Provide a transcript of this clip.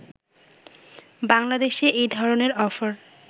বাংলাদেশে এই ধরনের অফার